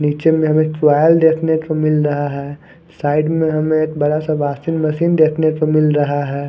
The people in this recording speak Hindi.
नीचे में हमें देखने को मिल रहा है साईड में हमें एक बड़ा सा वाशिंग मशीन देखने को मिल रहा है।